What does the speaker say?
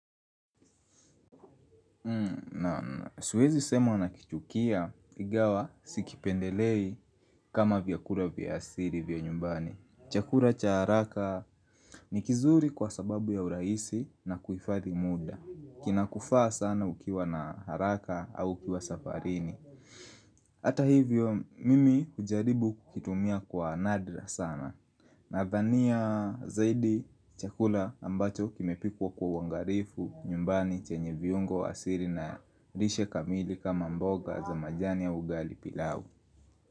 Na siwezi sema na kichukia igawa sikipendelei kama vyakula vya asili vya nyumbani Chakula cha haraka ni kizuri kwa sababu ya urahisi na kuhifathi muda Kina kufaa sana ukiwa na haraka au ukiwa safarini Ata hivyo mimi hujaribu kukitumia kwa nadra sana Nadhania zaidi chakula ambacho kimepikwa kwa uangarifu nyumbani chenye viungo asiri na rishe kamili kama mboga za majani ya ugali pilau.